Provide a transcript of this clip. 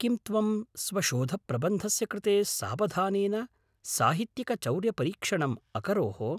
किं त्वं स्वशोधप्रबन्धस्य कृते सावधानेन साहित्यिकचौर्यपरीक्षणम् अकरोः?